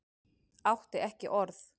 Átti ekki orð.